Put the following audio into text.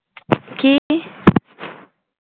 কি?